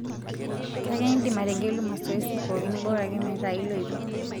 Kake indim ategelu masoesi pookin bora ake metaa iloito.